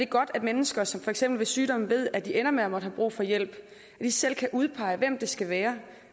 godt at mennesker som for eksempel ved sygdom ved at de ender med at måtte have brug for hjælp lige selv kan udpege hvem det skal være